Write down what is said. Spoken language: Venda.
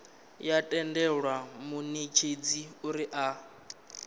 ya tendela munetshedzi uri a